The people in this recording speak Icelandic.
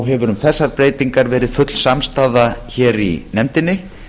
hefur um þessar breytingar verið full samstaða hér í nefndinni